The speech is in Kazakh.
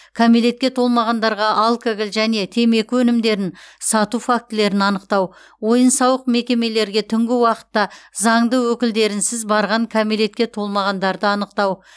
кәмелетке толмағандарға алкоголь және темекі өнімдерін сату фактілерін анықтау ойын сауық мекемелерге түнгі уақытта заңды өкілдерінсіз барған кәмелетке толмағандарды анықтау